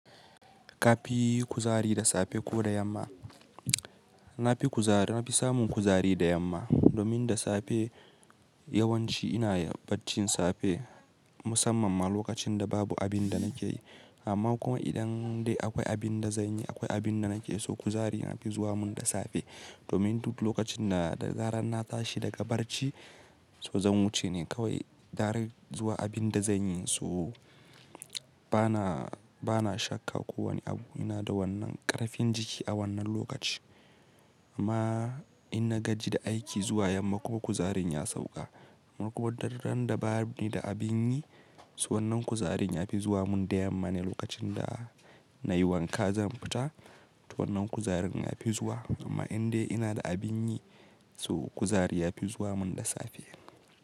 Ka fi yi kuzari da safe ko da yamma? Na fi kuzari, na fi samun kuzari da yamma domin da safe yawanci ina barcin safe musamman ma lokacin da babu abin da nake yi. Amma kuma idan dai akwai abin da zan yi, akwai abin da nake so kuzarin ya fi zuwa mun da safe. Domin duk lokacin da zaren na tashi daga barci, so zan wuce ne kawai dare zuwa abin da zan yi. So bana, bana shakka kowane abu ina da wannan ƙarfin jiki a wannan lokaci. Ma in na gaji da aiki zuwa yamma kuma kuzarin ya sauka ko kuma daren da ba ni da abin yi, so wannan kuzarin ya fi zuwa mun da yamma ne lokacin da na yi wanka zan fita. To wannan kuzarin ya fi zuwa amma in dai ina da abin yi so kuzari ya fi zuwa mun da safe.